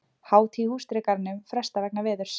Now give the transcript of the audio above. Hátíð í Húsdýragarðinum frestað vegna veðurs